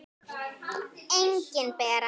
Engin Bera.